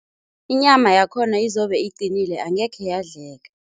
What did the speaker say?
Inyama yakhona izobe iqinile, angekhe yadleka.